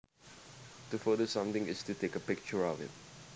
To photo something is to take a picture of it